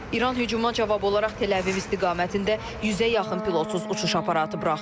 İran hücuma cavab olaraq Tel-Əviv istiqamətində yüzə yaxın pilotsuz uçuş aparatı buraxıb.